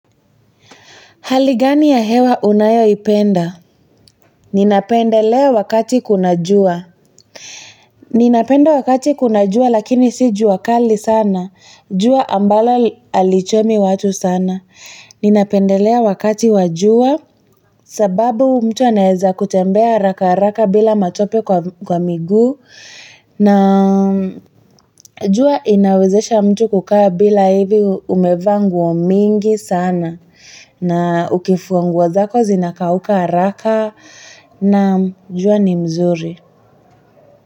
Hali gani ya hewa unayoipenda? Ninapendelea wakati kuna jua. Ninapenda wakati kuna jua lakini si juakali sana. Jua ambalo alichomi watu sana. Ninapendelea wakati wa jua sababu mtu anaweza kutembea haraka bila matope kwa miguu na jua inawezesha mtu kukaa bila hivi umevaa nguo mingi sana. Na ukifua nguo zako zinakauka haraka naam jua ni mzuri.